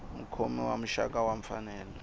mukhomi wa muxaka wa mfanelo